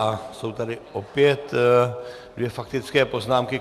A jsou tady opět dvě faktické poznámky.